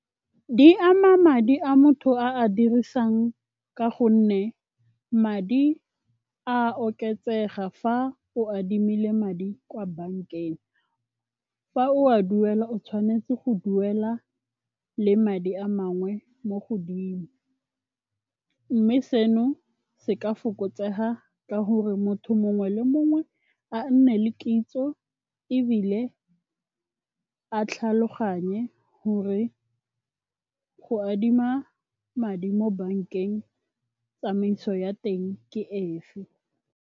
Di ama madi a motho a a dirisang ka gonne madi a oketsega fa o adimile madi kwa bankeng. Fa o a duela o tshwanetse go duela le madi a mangwe mo godimo. Mme seno se ka fokotsega ka gore motho mongwe le mongwe a nne le kitso ebile a tlhaloganye gore go adima madi mo bankeng tsamaiso ya teng ke e fe.